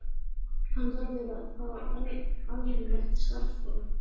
Hann verður að fá almennilegt starfsfólk.